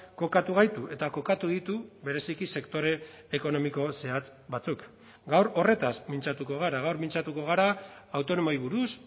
kokatu gaitu eta kokatu ditu bereziki sektore ekonomiko zehatz batzuk gaur horretaz mintzatuko gara gaur mintzatuko gara autonomoei buruz